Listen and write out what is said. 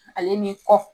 Ale ni kɔ